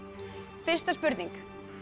fyrsta spurning